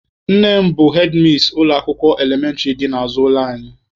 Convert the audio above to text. Nne m bụ hedmis ụlọ akwụkwọ elementịrị dị n'azụ ụlọ anyị.